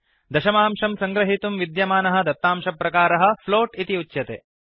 दशमांशं decimal सङ्ग्रहीतुं विद्यमानः दत्तांशप्रकारः फ्लोट इति उच्यते